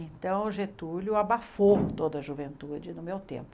Então, o Getúlio abafou toda a juventude no meu tempo.